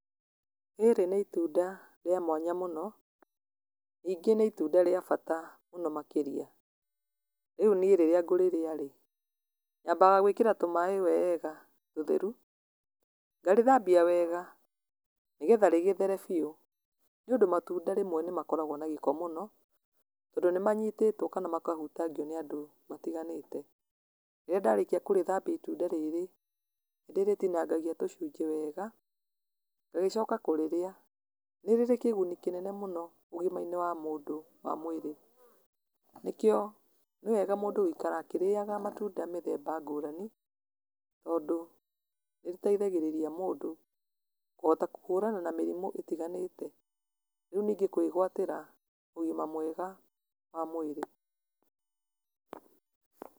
Rĩrĩ nĩ itunda rĩa mwanya mũno, ningĩ nĩ itunda rĩa bata mũno makĩria. Rĩu niĩ rĩrĩa ngũrĩrĩa ĩ, nyambaga gwĩkĩra tũmaĩ weega tũtheru, ngarĩthambia wega nĩgetha rĩgĩthere biũ, nĩ ũndũ matunda rĩmwe nĩ makoragwo na gĩko mũno, tondũ nĩ manyitĩtwo, kana makahutangio, nĩ andũ matiganĩte. Rĩrĩa ndarĩkia kũrĩthambia itunda rĩrĩ, nĩ ndĩritinangagia tujcunjĩ wega, ngagĩcoka kũrĩrĩa. Nĩ rĩrĩ kĩguni kĩnene mũno ũgima-inĩ wa mũndũ wa mwĩrĩ, nĩkĩo nĩ wega mũndũ gũikara akĩrĩyaga matunda ngũrani, tondũ nĩ rĩteithagĩrĩria mũndũ kũhota kũhũrana na mĩrimũ ĩtiganĩte, rĩu ningĩ kwĩgwatĩra ũgima mwega wa mwĩrĩ.